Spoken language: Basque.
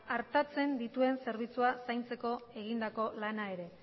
artatzen dituen zerbitzua zaintzeko egindako lana ere